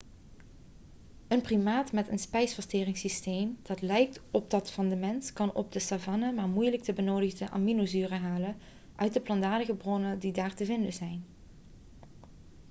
een primaat met een spijsverteringssysteem dat lijkt op dat van de mens kan op de savanne maar moeilijk de benodigde aminozuren halen uit de plantaardige bronnen die daar te vinden zijn